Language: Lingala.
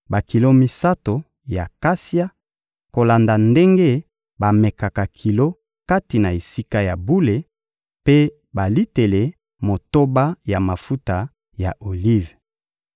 bakilo misato ya kasia, kolanda ndenge bamekaka kilo kati na Esika ya bule, mpe balitele motoba ya mafuta ya olive.